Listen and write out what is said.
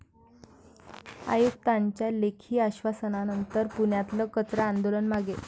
आयुक्तांच्या लेखी आश्वासनानंतर पुण्यातलं कचरा आंदोलन मागे